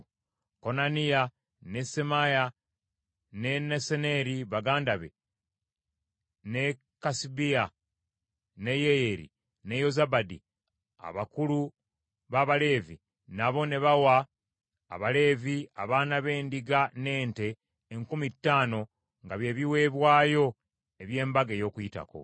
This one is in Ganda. Konaniya, ne Semaaya ne Nesaneri, baganda be, ne Kasabiya ne Yeyeri ne Yozabadi, abakulu b’Abaleevi, nabo ne bawa Abaleevi abaana b’endiga n’ente enkumi ttaano nga by’ebiweebwayo eby’Embaga ey’Okuyitako.